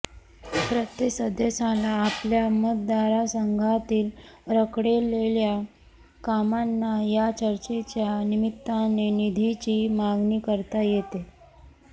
प्रत्येक सदस्याला आपल्या मतदारसंघातील रखडलेल्या कामांना या चर्चेच्या निमित्ताने निधीची मागणी करता येते